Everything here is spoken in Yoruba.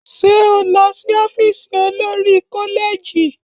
Ṣé o lọ sí ọ́fíìsì olori-koleji?